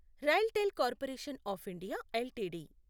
RailTel corporation of India LTD